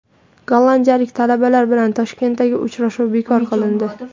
Gollandiyalik talabalar bilan Toshkentdagi uchrashuv bekor qilindi.